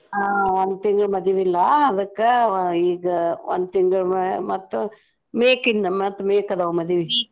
ಆ ಒಂದ್ ತಿಂಗ್ಳ್ ಮದಿವಿ ಇಲ್ಲಾ ಅದಕ್ಕ ಈಗ ಒಂದ್ ತಿಂಗಳ್ ಮ~ ಮತ್ತ May ಕ್ಕಿನ್ನ ಮತ್ತ್ May ಕ್ ಅದಾವ್ ಮದಿವಿ.